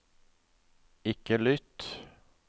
ikke lytt